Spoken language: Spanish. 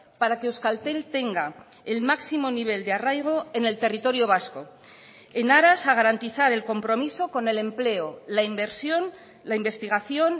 para que euskaltel tenga el máximo nivel de arraigo en el territorio vasco en aras a garantizar el compromiso con el empleo la inversión la investigación